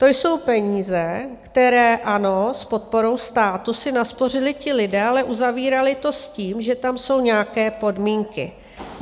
To jsou peníze, které, ano s podporou státu, si naspořili ti lidé, ale uzavírali to s tím, že tam jsou nějaké podmínky.